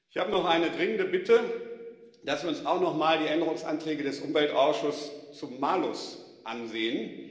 Ich habe noch die dringende Bitte, dass wir uns auch nochmal die Änderungsanträge des Umweltausschusses zum Malus ansehen.